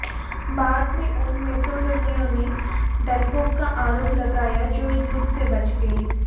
बाद में उन मैसेडोनियनों ने डरपोक का आरोप लगाया जो युद्ध से बच गए